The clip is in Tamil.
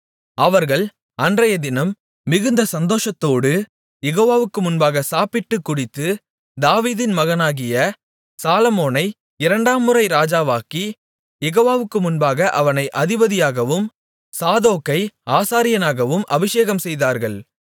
அவர்கள் அன்றையதினம் மிகுந்த சந்தோஷத்தோடு யெகோவாவுக்கு முன்பாக சாப்பிட்டு குடித்து தாவீதின் மகனாகிய சாலொமோனை இரண்டாம் முறை ராஜாவாக்கி யெகோவாவுக்கு முன்பாக அவனை அதிபதியாகவும் சாதோக்கை ஆசாரியனாகவும் அபிஷேகம்செய்தார்கள்